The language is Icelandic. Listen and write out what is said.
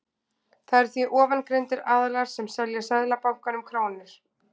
Það eru því ofangreindir aðilar sem selja Seðlabankanum krónur.